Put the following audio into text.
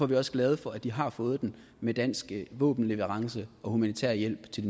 vi også glade for at de har fået den med dansk våbenleverance og humanitær hjælp til